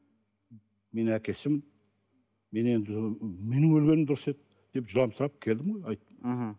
мен әкесімін мен енді менің өлгенім дұрыс еді деп жыламсырап келдім ғой айттым мхм